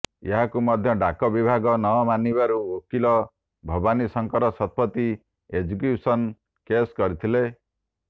ଏହାକୁ ମଧ୍ୟ ଡାକ ବିଭାଗ ନମାନିବାରୁ ଓକିଲ ଭବାନୀଶଙ୍କର ଶତପଥୀ ଏକ୍ଜିକ୍ୟୁସନ କେସ କରିଥିଲେ